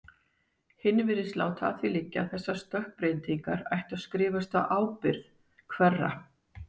Hinn virtist láta að því liggja að þessar stökkbreytingar ættu að skrifast á ábyrgð- hverra?